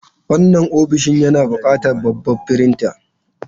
Wannan ofishin yana buƙatar babban firinta.